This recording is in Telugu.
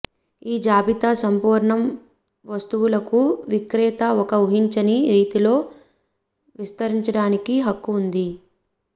ఈ జాబితా సంపూర్ణం వస్తువులకు విక్రేత ఒక ఊహించని రీతిలో విస్తరించడానికి హక్కు ఉంది